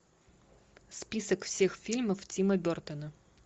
список всех фильмов тима бертона